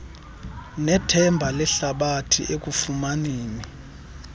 nethemba lehlabathi ekufumaneni